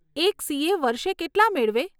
એક સીએ વર્ષે કેટલાં મેળવે?